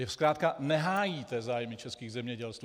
Vy zkrátka nehájíte zájmy českých zemědělců.